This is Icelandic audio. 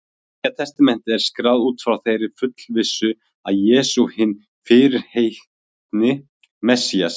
Allt Nýja testamentið er skráð út frá þeirri fullvissu, að Jesús sé hinn fyrirheitni Messías.